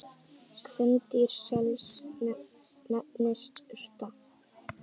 Kvendýr sels nefnist urta.